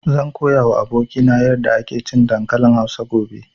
Zan koya wa abokina yarda ake cin dankalin Hausa gobe